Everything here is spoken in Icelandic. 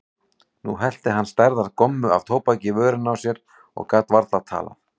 Nú hellti hann stærðar gommu af tóbaki í vörina á sér og gat varla talað.